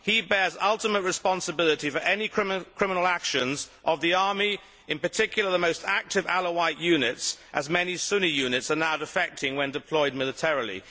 He bears ultimate responsibility for any criminal actions of the army, in particular the most active Alawite units, as many Sunni units are now defecting when deployed militarily.